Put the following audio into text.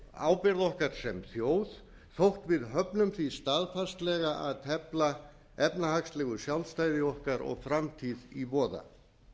ábyrgð okkar sem þjóð þótt við höfnum því staðfastlega að tefla efnahagslegu sjálfstæði okkar og framtíð í voða